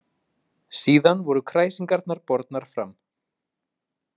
Síðan voru kræsingarnar bornar fram.